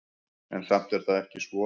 En samt er það ekki svo.